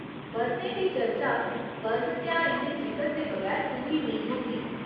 बर्तें दी चर्चा पर्व तेहारें दे जिकर दे बगैर पूरी नेईं होंदी।